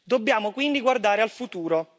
Dobbiamo quindi guardare al futuro.